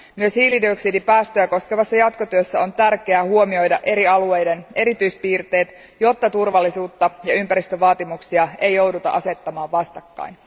Myös hiilidioksidipäästöjä koskevassa jatkotyössä on tärkeää huomioida eri alueiden erityispiirteet, jotta turvallisuutta ja ympäristövaatimuksia ei jouduta asettamaan vastakkain.